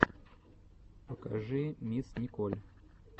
покажи мисс николь